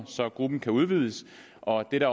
så gruppen kan udvides og det